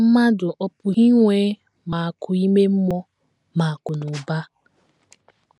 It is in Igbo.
Mmadụ ọ́ pụghị inwe ma akụ̀ ime mmụọ ma akụnụba?